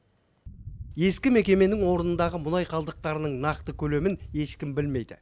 ескі мекеменің орнындағы мұнай қалдықтарының нақты көлемін ешкім білмейді